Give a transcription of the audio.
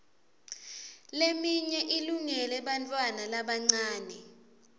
leminye ilungele bantfwana labancane